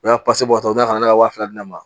U y'a bɔ u bɛ na ne ka waa fila di ne ma